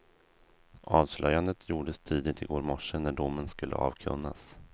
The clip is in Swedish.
Avslöjandet gjordes tidigt i går morse när domen skulle avkunnas.